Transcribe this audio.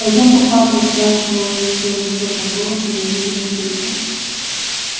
пойдём купаться спрашивал её своим высоким голосом невидимый петя